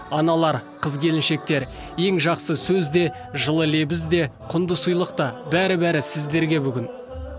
аналар қыз келіншектер ең жақсы сөз де жылы лебіз де құнды сыйлық та бәрі бәрі сіздерге бүгін